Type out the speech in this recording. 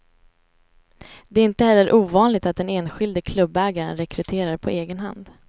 Det är inte heller ovanligt att den enskilde klubbägaren rekryterar på egen hand.